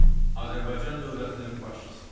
Azərbaycan dövlətinin başçısı.